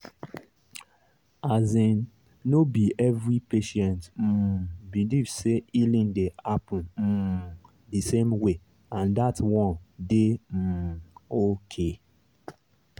asin no be every patient um believe say healing dey happen um di same way and that one dey um okay